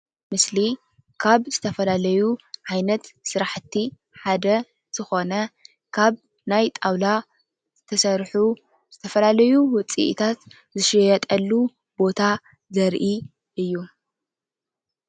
እዚ ምስሊ ካብ ዝተፈላለዩ ዓይነት ስራሕቲ ሓደ ዝኮነ ካብ ናይ ጣውላ ተሰሪሑ ዝተፈላለዩ ውፅኢታት ዝሽየጠሉ ቦታ ዘሪኢ እዩ።